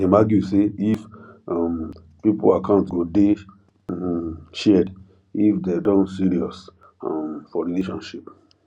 dem argue say if um pipu account go day um shared if dem don serious um for relationship